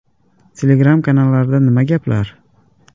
Telegram kanallarida nima gaplar?